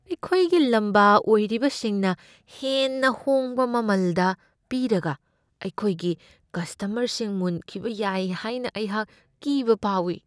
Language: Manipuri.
ꯑꯩꯈꯣꯏꯒꯤ ꯂꯝꯕꯥ ꯑꯣꯏꯔꯤꯕꯁꯤꯡꯅ ꯍꯦꯟꯅ ꯍꯣꯡꯕ ꯃꯃꯜꯗ ꯄꯤꯔꯒ ꯑꯩꯈꯣꯏꯒꯤ ꯀꯁꯇꯃꯔꯁꯤꯡ ꯃꯨꯟꯈꯤꯕ ꯌꯥꯏ ꯍꯥꯏꯅ ꯑꯩꯍꯛ ꯀꯤꯕ ꯐꯥꯎꯢ ꯫